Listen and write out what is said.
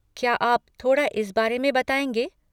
क्या आप थोड़ा इस बारे में बताएँगे?